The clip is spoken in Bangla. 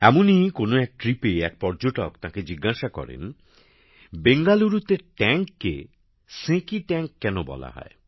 এমনই কোন এক ট্রিপে এক পর্যটক তাঁকে জিজ্ঞাসা করেন বেঙ্গালুরুতে ট্যাংককে সেঁকি ট্যাংক কেন বলা হয়